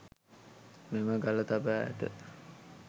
මෙම ගල තබා ඇත